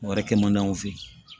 Wari kɛ man di anw fe ye